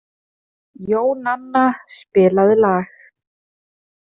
Jónanna, spilaðu lag.